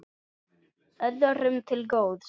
Öðrum til góðs.